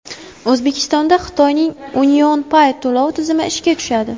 O‘zbekistonda Xitoyning UnionPay to‘lov tizimi ishga tushadi.